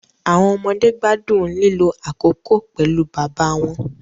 Awọn ọmọde gbadun lilo akoko pẹlu baba wọn